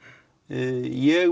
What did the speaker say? ég